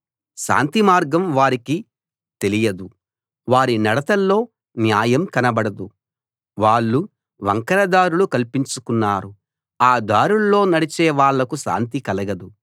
శాంతి మార్గం వారికి తెలియదు వారి నడతల్లో న్యాయం కనబడదు వాళ్ళు వంకరదారులు కల్పించుకున్నారు ఆ దారుల్లో నడిచే వాళ్ళకు శాంతి కలగదు